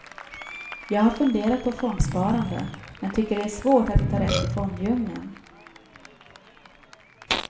Jag har funderat på fondsparande, men tycker det är svårt att hitta rätt i fonddjungeln.